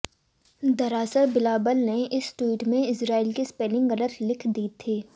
दरअसल बिलावल ने इस ट्वीट में इजराइल की स्पेलिंग गलत लिख दी थी